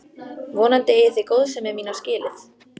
Vonandi eigið þið góðsemi mína skilið.